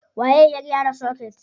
Waye ya gyara soket?